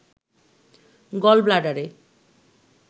গল ব্লাডারে